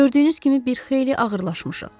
Gördüyünüz kimi bir xeyli ağırlaşmışıq.